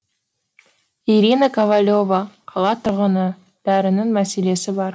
ирина ковалева қала тұрғыны дәрінің мәселесі бар